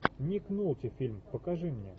ник нолти фильм покажи мне